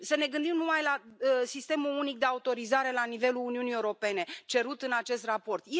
Să ne gândim numai la sistemul unic de autorizare la nivelul Uniunii Europene cerut în acest raport.